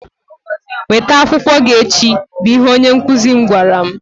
weta akwụkwọ gị echi! bụ ihe onye nkụzi m gwara m.